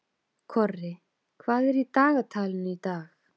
Korri, hvað er í dagatalinu í dag?